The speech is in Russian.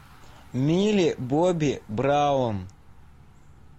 милли бобби браун